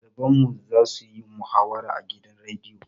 Ɗaliban mu za su yi muhawara a gidan rediyo.